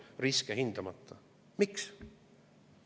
Miks?